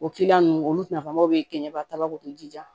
O ninnu olu nafamaw bɛ kɛ ɲɛba tabaw de jija